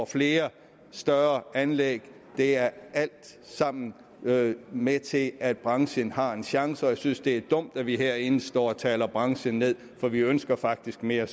flere større anlæg det er alt sammen med med til at at branchen har en chance og jeg synes det er dumt at vi herinde står og taler branchen ned for vi ønsker faktisk mere